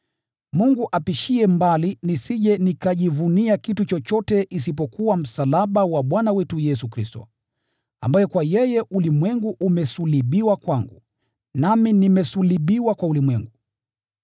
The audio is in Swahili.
Mungu apishie mbali nisije nikajivunia kitu chochote isipokuwa msalaba wa Bwana wetu Yesu Kristo, ambaye kwa yeye ulimwengu umesulubiwa kwangu, nami nimesulubiwa kwa ulimwengu.